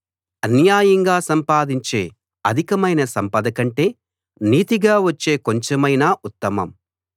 అన్యాయంగా సంపాదించే అధికమైన సంపద కంటే నీతిగా వచ్చే కొంచెమైనా ఉత్తమం